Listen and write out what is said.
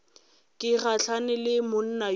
ke gahlane le monna yola